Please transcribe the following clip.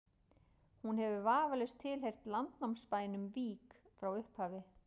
hún hefur vafalaust tilheyrt landnámsbænum vík frá upphafi